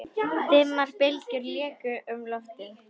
Dimmar bylgjur léku um loftið.